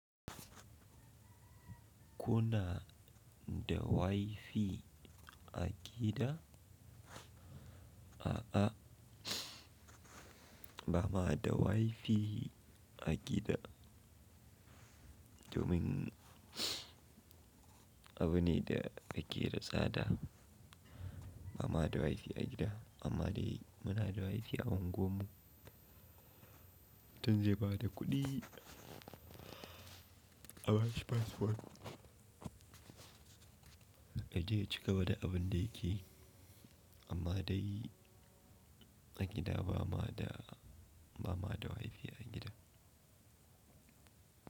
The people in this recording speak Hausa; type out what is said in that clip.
Kuna da wifi a gida? A'a, ba ma da wifi a gida domin abune da ake da tsada. Ba ma da wifi a gida amma dai muna da wifi a unguwan mu. Mutun zai ba da kuɗi a bashi passport. Yaje ya cigaba da abun da yake yi amma dai a gida ba ma da, ba ma da wifi a gida.